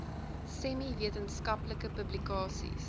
semi wetenskaplike publikasies